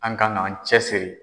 An kan k'an cɛsiri.